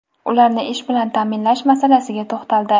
ularni ish bilan ta’minlash masalasiga to‘xtaldi.